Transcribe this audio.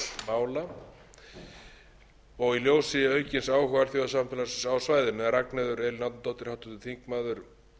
mála og í ljósi aukins áhuga alþjóðasamfélagsins á svæðinu en ragnheiður elín árnadóttir háttvirtur þingmaður og